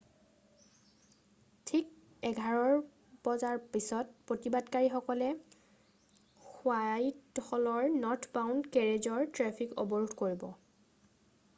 ঠিক 11:00ৰ পিছত প্ৰতিবাদকাৰীসকলে হোৱাইট হলৰ নৰ্থবাউণ্ড কেৰেজৰ ট্ৰেফিক অৱৰোধ কৰে।